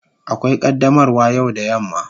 Akwai qaddamarwa yau da yamma.